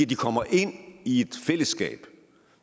de kommer ind i et fællesskab